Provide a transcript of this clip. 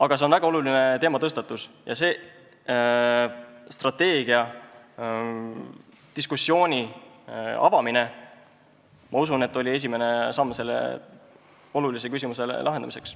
Aga see on väga oluline teematõstatus ja strateegiadiskussiooni avamine, ma usun, oli esimene samm selle olulise küsimuse lahendamisel.